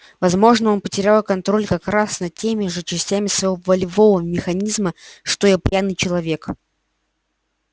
возможно он потерял контроль как раз над теми же частями своего волевого механизма что и пьяный человек